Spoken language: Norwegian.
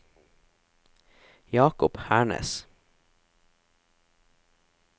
Jakob Hernes